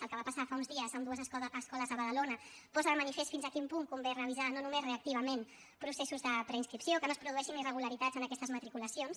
el que va passar fa uns dies en dues escoles a badalona posa de manifest fins a quin punt convé revisar no només reactivament processos de preinscripció que no es produeixin irregularitats en aquestes matriculacions